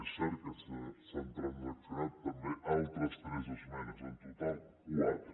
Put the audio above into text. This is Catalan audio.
és cert que s’han transaccionat també altres tres esmenes en total quatre